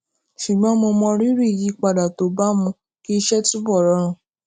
ṣùgbón mo mọrírì ìyípadà tó bá mú kí iṣé túbò rọrùn